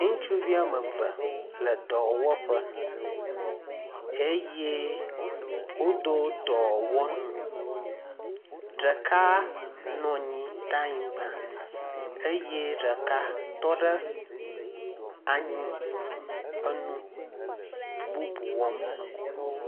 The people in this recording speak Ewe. Ŋutuvi wɔme eve le dɔwɔƒe eye wodo dɔwɔnu. Ɖeka nɔ anyi ɖe anyigba eye ɖeka tɔ ɖe anyi enu bubu wɔm.